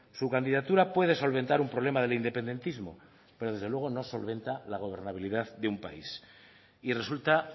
su candidatura puede solventar un problema del independentismo pero desde luego no solventa la gobernabilidad de un país y resulta